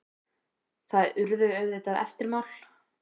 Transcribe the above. Það urðu auðvitað eftirmál.